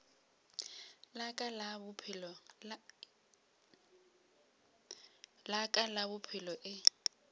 la ka la bophelo e